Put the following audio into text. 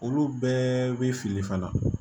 Olu bɛɛ bɛ fili fana na